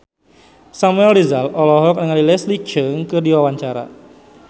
Samuel Rizal olohok ningali Leslie Cheung keur diwawancara